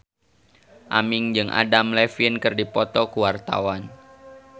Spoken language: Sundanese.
Aming jeung Adam Levine keur dipoto ku wartawan